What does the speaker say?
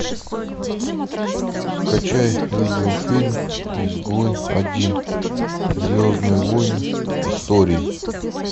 скачай видеофильм изгой один звездные войны истории